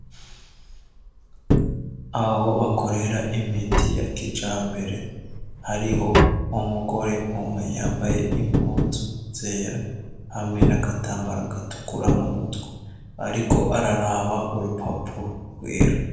Aho bakorera imiti ya kijambere hariho umugore umwe yambaye impuzu zera hamwe n'agatambara gatukura mu mutwe ariko araraba urupapuro rwera.